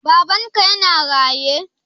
Babanka yana raye?